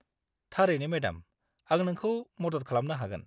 -थारैनो मेडाम, आं नोंखौ मदद खालामनो हागोन।